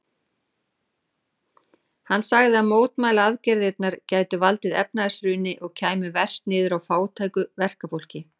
Hann sagði að mótmælaaðgerðirnar gætu valdið efnahagshruni og kæmu verst niður á fátæku verkafólki.